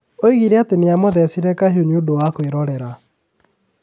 Oigire atĩ amũthecire kahiũ "nĩ ũndũ wa kwĩrorera".